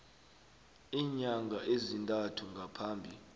iinyanga ezintathu ngaphambi